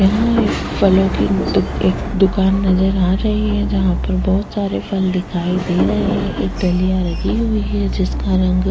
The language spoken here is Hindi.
यहाँ एक फलों की दुक एक दुकान नजर आ रही है जहाँ पर बहोत सारे फल दिखाई दे रहे हैं एक डलिया लगी हुई है जिसका रंग --